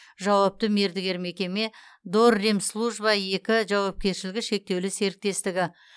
жауапты мердігер мекеме дорремслужба екі жауапкершілігі шектеулі серіктестігі